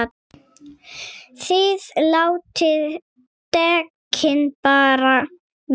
ÞIÐ LÁTIÐ DEKKIN BARA VERA!